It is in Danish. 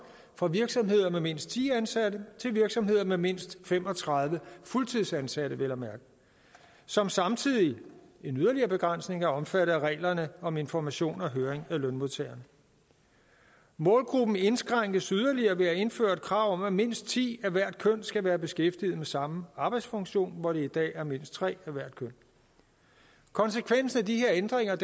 fra virksomheder med mindst ti ansatte til virksomheder med mindst fem og tredive fuldtidsansatte vel at mærke som samtidig hvilket en yderligere begrænsning er omfattet af reglerne om information og høring af lønmodtageren målgruppen indskrænkes yderligere ved at indføre et krav om at mindst ti af hvert køn skal være beskæftiget med samme arbejdsfunktion hvor det i dag er mindst tre af hvert køn konsekvensen af de her ændringer er